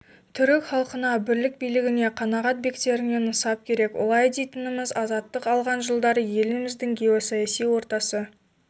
түрік халқына бірлік билігіне қанағат бектеріне нысап керек олай дейтініміз азаттық алған жылдары еліміздің геосаяси ортасы